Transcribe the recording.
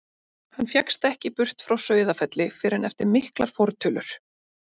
Hann fékkst ekki burt frá Sauðafelli fyrr en eftir miklar fortölur.